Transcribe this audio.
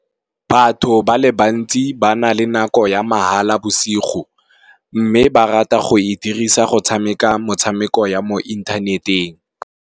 Batho ba le bantsi ba na le nako ya mahala bosigo, mme ba rata go e dirisa go tshameka motshameko ya mo inthaneteng.